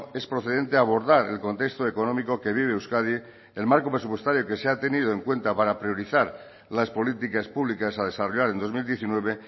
es procedente abordar el contexto económico que vive euskadi el marco presupuestario que se ha tenido en cuenta para priorizar las políticas públicas a desarrollar en dos mil diecinueve